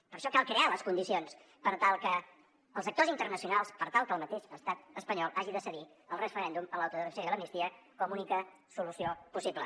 per a això cal crear les condicions per tal que els actors internacionals per tal que el mateix estat espanyol hagi de cedir al referèndum a l’autodeterminació i a l’amnistia com a única solució possible